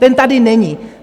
Ten tady není.